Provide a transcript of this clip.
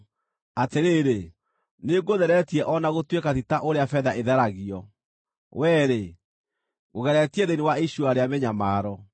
Atĩrĩrĩ, nĩngũtheretie o na gũtuĩka ti ta ũrĩa betha ĩtheragio; wee-rĩ, ngũgeretie thĩinĩ wa icua rĩa mĩnyamaro.